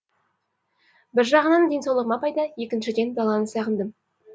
бір жағынан денсаулығыма пайда екіншіден даланы сағындым